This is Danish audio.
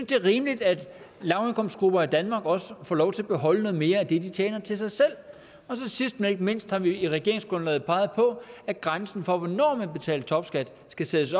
det er rimeligt at lavindkomstgrupper i danmark også får lov til at beholde noget mere af det de tjener til sig selv sidst men ikke mindst har vi i regeringsgrundlaget peget på at grænsen for hvornår man betaler topskat skal sættes